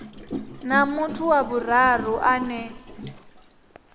na muthu wa vhuraru ane